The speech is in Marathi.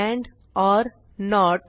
end or note